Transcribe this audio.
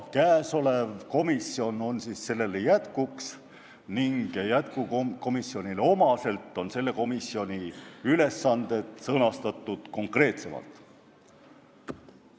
Eelnõus ettenähtud komisjon on selle jätkuks ning jätkukomisjonile omaselt on tema ülesanded sõnastatud konkreetsemalt.